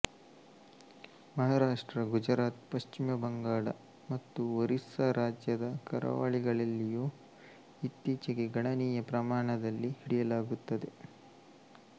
ಮಹಾರಾಷ್ಟ್ರ ಗುಜರಾತ್ ಪಶ್ಚಿಮ ಬಂಗಾಳ ಮತ್ತು ಒರಿಸ್ಸಾ ರಾಜ್ಯದ ಕರಾವಳಿಗಳಲ್ಲೂ ಇತ್ತೀಚೆಗೆ ಗಣನೀಯ ಪ್ರಮಾಣದಲ್ಲಿ ಹಿಡಿಯಲಾಗುತ್ತದೆ